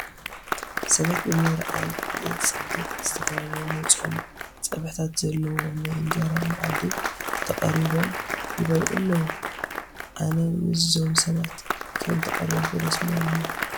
ሰባት ብምርኣይ ዘፅግብ ዝተፈላለዩ ናይ ፆም ፀብሕታት ዘለዎ ናይ እንጀራ መኣዲ ተቐሪቦም ይበልዑ ኣለዉ፡፡ ኣነ ምስዞም ሰባት ከምተቐረብኩ ደስ ምበለኒ፡፡